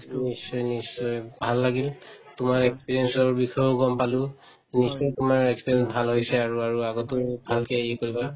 নিশ্চয় নিশ্চয় ভাল লাগিল তোমাৰ experience ৰ বিষয়েও গম পালো নিশ্চয় তোমাৰ experience ভাল হৈছে আৰু আৰু আগতো ভালকে কৰিবা